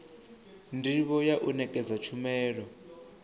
ndivho ya u nekedza tshumelo